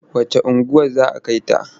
Wacce unguwar za a kai ta?